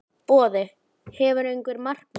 Boði: Hefurðu einhver markmið?